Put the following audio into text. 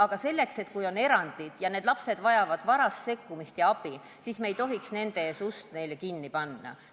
Aga kui on erandeid ning lapsed vajavad varast sekkumist ja abi, siis ei tohiks me nende ees ust kinni panna.